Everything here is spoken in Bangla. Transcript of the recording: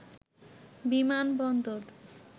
বিমান বন্দর